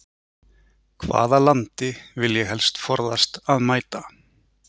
Hvaða landi vil ég helst forðast að mæta?